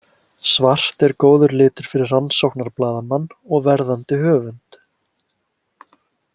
Svart er góður litur fyrir rannsóknarblaðamann og verðandi höfund.